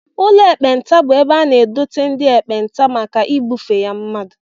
Ụlọ ekpenta bụ ebe a na-edote ndị ekpenta maka ibufe ya mmadụ